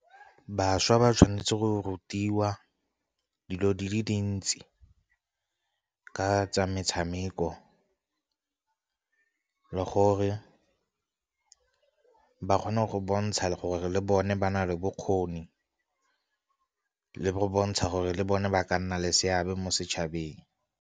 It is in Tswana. Bašwa ba tshwanetse go rutiwa dilo di le dintsi ka tsa metshameko le gore ba kgone go bontsha gore le bone ba na le bokgoni, le go bontsha gore le bone ba ka nna le seabe mo setšhabeng.